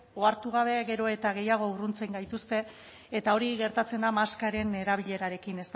ohartu gabe gero eta gehiago urruntze gaituzte eta hori gertatzen da maskaren erabilerarekin